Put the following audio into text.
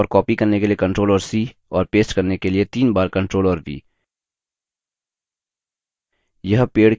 पेड़ चुनें और copy करने के लिए ctrl और c और paste करने के लिए तीन बार ctrl और v